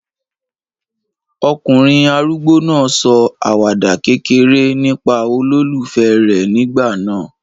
Ọkùnrin arúgbó náà sọ àwàdà kékeré nípa olólùfẹ́ rẹ̀ nígbà náà.